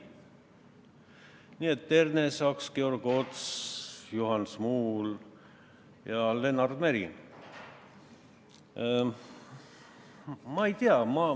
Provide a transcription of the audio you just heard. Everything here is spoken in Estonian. Nii et Ernesaks, Georg Ots, Juhan Smuul ja Lennart Meri.